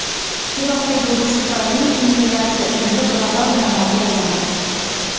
Iroqdagi urush tufayli inflyatsiya endi global muammoga aylandi.